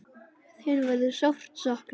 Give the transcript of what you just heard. Þin verður sárt saknað.